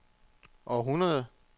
århundrede